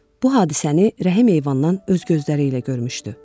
Bu hadisəni Rəhim eyvandan öz gözləri ilə görmüşdü.